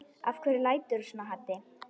Af hverju læturðu svona Haddi?